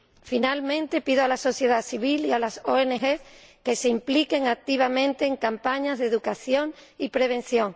Finalmente, pido a la sociedad civil y a las ONG que se impliquen activamente en campañas de educación y prevención.